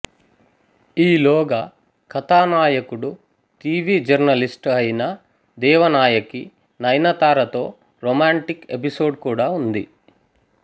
ఈలోగా కథానాయకుడు TV journalist అయిన దేవనాయకి నయనతార తో రొమాంటిక్ ఎపిసోడ్ కూడా ఉంది